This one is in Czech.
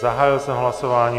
Zahájil jsem hlasování.